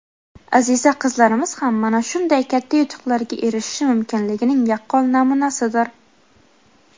Aziza qizlarimiz ham mana shunday katta yutuqlarga erishishi mumkinligining yaqqol namunasidir.